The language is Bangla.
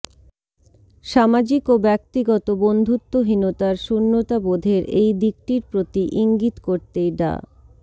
সামাজিক ও ব্যক্তিগত বন্ধুত্বহীনতার শূন্যতাবোধের এই দিকটির প্রতি ইঙ্গিত করতেই ডা